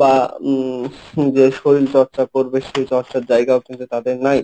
বা উম যে শরীর চর্চা করবে, সেই চর্চার জায়গাও কিন্তু তাদের নাই.